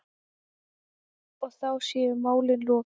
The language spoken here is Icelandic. Og þá sé málinu lokið.